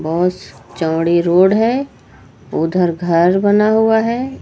ओस चौड़ी रोड है उधर घर बना हुआ है।